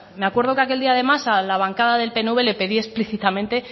me acuerdo que aquel día además a la bancada del pnv le pedí explícitamente